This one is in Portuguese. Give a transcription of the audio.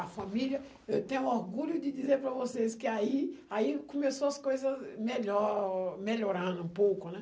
A família, eu tenho orgulho de dizer para vocês que aí aí começou as coisas melhor melhorando um pouco, né?